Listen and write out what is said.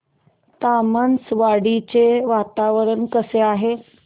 तामसवाडी चे वातावरण कसे आहे